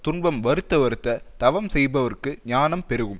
துன்பம் வருத்த வருத்தத் தவம் செய்பவர்க்கு ஞானம் பெருகும்